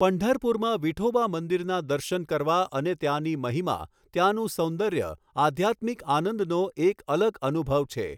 પંઢરપુરમાં વિઠોબા મંદિરના દર્શન કરવા અને ત્યાંની મહિમા, ત્યાંનું સૌંદર્ય, આધ્યાત્મિક આનંદનો એક અલગ અનુભવ છે.